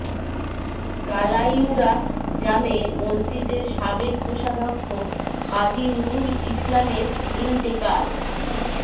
কালাইউরা জামে মসজিদের সাবেক কোষাদক্ষ হাজী নুরুল ইসলামের ইন্তেকাল